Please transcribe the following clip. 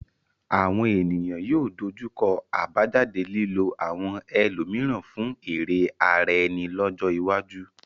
Àwọn ènìyàn yóò dojú kọ àbájáde lílo àwọn ẹlòmíràn fún èrè ara ẹni lọ́jọ́ iwájú.